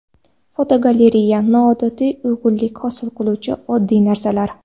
Fotogalereya: Noodatiy uyg‘unlik hosil qiluvchi oddiy narsalar.